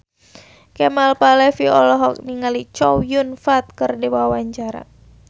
Kemal Palevi olohok ningali Chow Yun Fat keur diwawancara